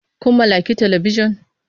Kun mallaki Talabijan?